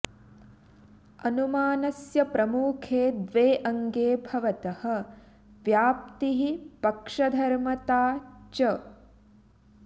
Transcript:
अनुमानस्य प्रमुखे द्वे अङ्गे भवतः व्याप्तिः पक्षधर्मता च